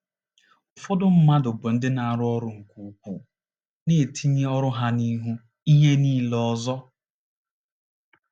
Ụfọdụ mmadụ bụ ndị na-arụ ọrụ nke ukwuu, na-etinye ọrụ ha n’ihu ihe niile ọzọ.